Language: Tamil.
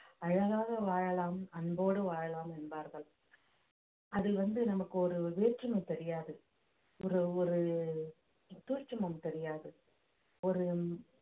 அழகாக வாழலாம் அன்போடு வாழலாம் என்பார்கள் அதில் வந்து நமக்கு ஒரு வேற்றுமை தெரியாது ஒரு ஒரு சூட்சமம் தெரியாது ஒரு